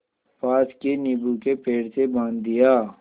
पास के नीबू के पेड़ से बाँध दिया